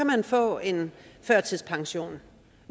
man få en førtidspension